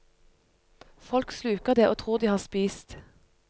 Folk sluker det og tror de har spist.